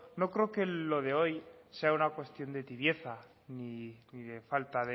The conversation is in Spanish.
no creo que lo de hoy sea una cuestión de tibieza ni de falta